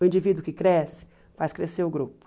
O indivíduo que cresce, faz crescer o grupo.